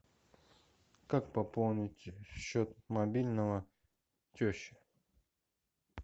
как пополнить счет мобильного тещи